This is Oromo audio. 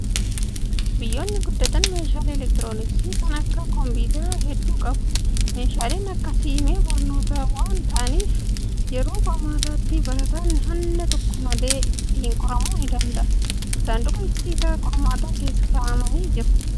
Biyyoonni guddatan meeshaalee elektirooniksii kan akka kompiitaraa hedduu qabu. Meeshaaleen akkasii mi'a barnootaa waan ta'aniif, yeroo qormaataatti barataan hanna tokko malee ittiin qoramuu ni danda'a. Saanduqa icciita qormaataa keessa kaa'amanii jiru.